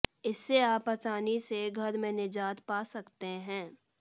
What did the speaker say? इससे आप आसानी से घर में निजात पा सकते है